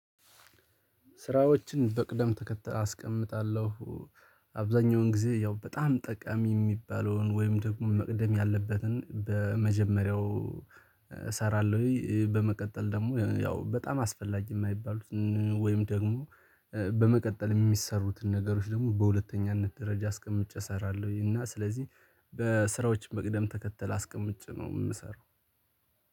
ስራዎችን በቅደም ተከተል አስቀምጣለሁ። አብዛኛውን ጊዜ ያው በጣም ጠቃሚ ሚባለውን ወይም ደግሞ መቅደም ያለበትን በመጀመሪያው እሰራለሁኝ በመቀጠል ደግሞ ያው በጣም አስፈላጊ የማይባሉትን ወይም ደግሞ። በመቀጠል የሚሰሩትን ነገሮች ደግሞ በሁለተኛነት ደረጃ አስቀምጬ እሰራለሁኝ እና ስለዚህ በስራዎች መቅደም ተከተል አስቀምጬ ነው ምሰራው።